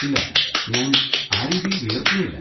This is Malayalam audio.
ഇല്ല, ഞാൻ ആ രീതിയിൽ വിയർക്കുന്നില്ല.